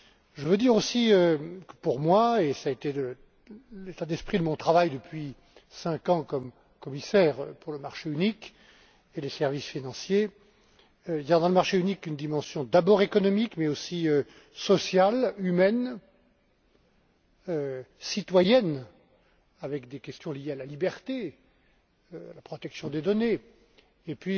Je veux aussi dire et cela a été l'état d'esprit de mon travail depuis cinq ans comme commissaire pour le marché unique et les services financiers qu'il y a dans le marché unique une dimension d'abord économique mais aussi sociale, humaine, citoyenne, avec des questions liées à la liberté et à la protection des données, et